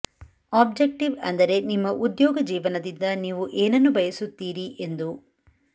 objective ಅಂದರೆ ನಿಮ್ಮ ಉದ್ಯೋಗ ಜೀವನದಿಂದ ನೀವು ಏನನ್ನು ಬಯಸುತ್ತೀರೀ ಎಂದು